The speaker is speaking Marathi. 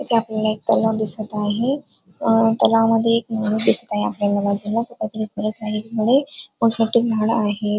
इथ आपल्याला एक तलाव दिसत आहे अ तलावामध्ये एक मोर दिसत आहे एका बाजूला झाड आहे.